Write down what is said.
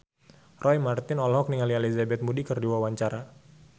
Roy Marten olohok ningali Elizabeth Moody keur diwawancara